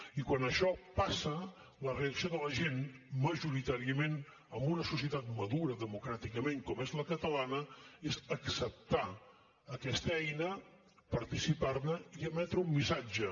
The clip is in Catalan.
i quan això passa la reacció de la gent majoritàriament en una societat madura democràticament com és la catalana és acceptar aquesta eina participar ne i emetre un missatge